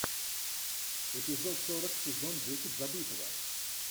эпизод сорок сезон десять забытого